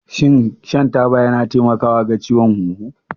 Shin shan taba yana taimakawa ga ciwon huhu?